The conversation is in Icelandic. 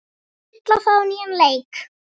Stulla það á nýjan leik.